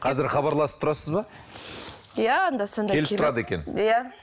қазір хабарласып тұрасыз ба иә анда санда келіп тұрады екен иә